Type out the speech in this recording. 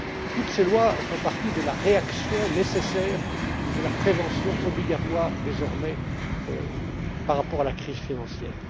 Toutes ces lois font partie de la réaction nécessaire et de la prévention obligatoire, désormais, par rapport à la crise financière.